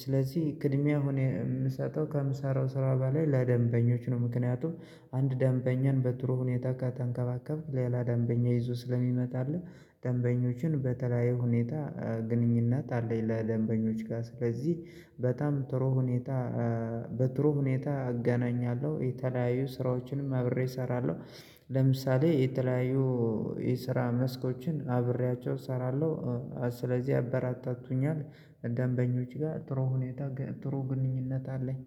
ስለዚህ ቅድሚያ አሁን የምሰጠው ከምሳራው ስራ በላይ ለደንበኞች ነው ምክንያቱም አንድ ደንበኛን በጥሩ ሁኔታ ተንከባከብክ ሌላ ደንበኛ ይዞ ስለሚመጣልህ ደንበኞችን በተለያየ ሁኔታ ግንኙነት አለኝ ለደንበኞች ጋር ስለዚህ በጣም ጥሩ ሁኔታ በጥሩ ሁኔታ እገናኛለሁ የተለያዩ ስራዎችንም አብሬ እሰራለሁ ለምሳሌ የተለያዩ የስራ መስኮችን አብሬያቸው እሰራለሁ ስለዚህ ያበረታቱኛል ደንበኞች ጋር ጥሩ ሁኔታ ጥሩ ግንኙነት አለኝ